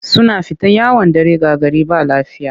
Suna fita yawon dare ga gari ba lafiya